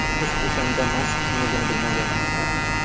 Qiz o‘shanda Mask kimligini bilmagan.